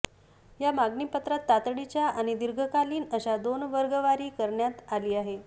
या मागणी पत्रात तातडीच्या आणि दीर्घकालीन अशा दोन वर्गवारी करण्यात आली आहे